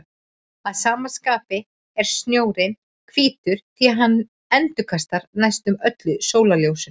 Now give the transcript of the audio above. Að sama skapi er snjórinn hvítur því hann endurkastar næstum öllu sólarljósinu.